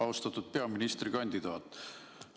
Austatud peaministrikandidaat!